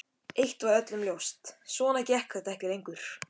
Eitt var öllum ljóst: Svona gekk þetta ekki lengur.